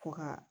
Ko ka